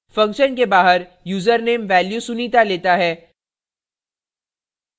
function के बाहर username value sunita लेता है